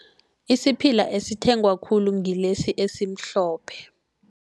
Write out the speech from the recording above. Isiphila esithengwa khulu ngilesi esimhlophe.